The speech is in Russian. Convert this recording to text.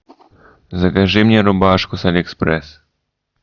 закажи мне рубашку с алиэкспресс